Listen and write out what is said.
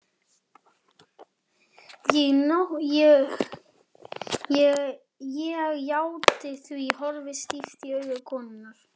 Ég játti því, horfði stíft í augu konunnar.